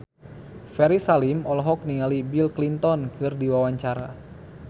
Ferry Salim olohok ningali Bill Clinton keur diwawancara